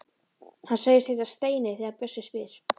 Hann segist heita Steini þegar bjössi spyr.